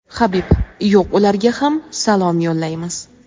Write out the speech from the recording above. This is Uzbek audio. Habib: Yo‘q, ularga ham salom yo‘llaymiz.